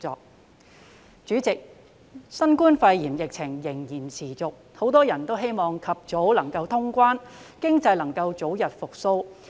代理主席，新冠肺炎疫情仍然持續，很多人都希望能及早通關，讓經濟早日復蘇。